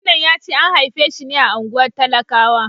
Gwamnan ya ce an haife shi ne a unguwar talakawa.